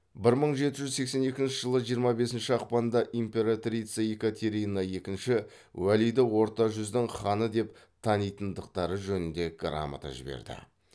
бір мың жеті жүз сексен екінші жылы жиырма бесінші ақпанда императрица екатерина екінші уәлиді орта жүздің ханы деп танитындықтары жөнінде грамота жіберді